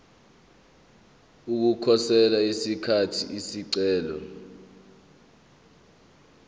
ukukhosela ngesikhathi isicelo